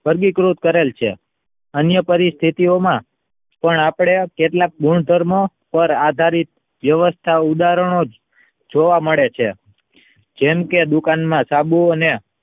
વર્ગીકૃત કરેલ છે અન્ય પરિસ્થિતિઓમાં આપણા કેટલાક ગુણધર્મો આધારિત વ્યવસ્થા ઉદાહરણો જોવા મળે છે જેમ કે દુકાનમાં સાબુ અને